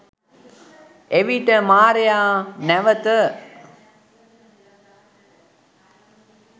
එවිට මාරයා නැවත